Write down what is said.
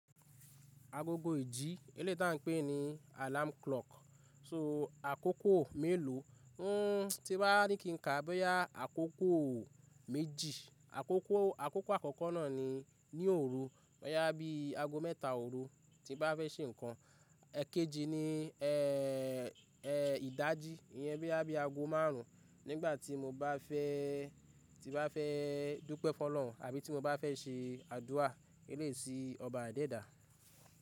Agogo ìjí, eléè tá a n pé ní alarm clock. So àkókò mélòó, n tí bá ní kí n kà, bá yá àkókò méjì. Àkókò àkókò àkọ́kọ́ náà ni ní òru. Boyá bí aago mẹ́ta òru tí n bá fẹ́ se nǹkan. Ẹ̀ kejì ni ẹ ẹ ìdájí, ìyẹn bí i aago márùn ún nígbà tí mo bá fẹ́, tí n bá fẹ́ dúpẹ́ f'ọ́lọ́run àbí tí mo bá fẹ́ se àdúrà eléyi si ọba àadèdà.